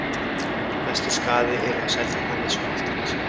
Mestur skaði yrði á Seltjarnarnesi og Álftanesi.